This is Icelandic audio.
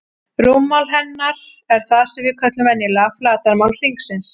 Rúmmál hennar er það sem við köllum venjulega flatarmál hringsins.